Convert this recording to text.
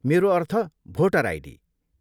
मेरो अर्थ, voter ID.